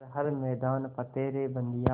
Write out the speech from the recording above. कर हर मैदान फ़तेह रे बंदेया